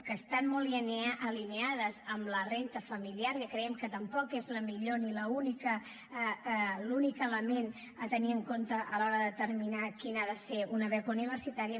que estan molt alineades amb la renda familiar que creiem que tampoc és el millor ni l’únic element a tenir en compte a l’hora de determinar quina ha de ser una beca universitària